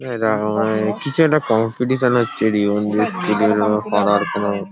এটা মনে হয় কিছু একটা কম্পিটিশন হচ্ছে স্কুল -এর বা পাড়ার কোনো ।